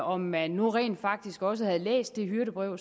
om man nu rent faktisk også har læst det hyrdebrev